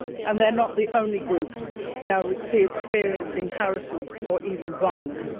They are not the only groups now experiencing harassment or even violence.